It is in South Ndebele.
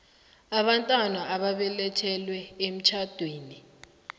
abantwana ababelethelwe emtjhadweni